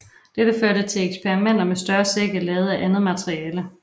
Dette førte til eksperimenter med større sække lavet af andet materiale